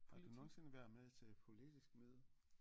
Har du nogensinde været med til politisk møde